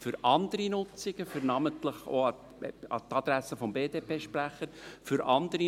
Für andere Nutzungen – namentlich auch an die Adresse des BDP-Sprechers –, beispielsweise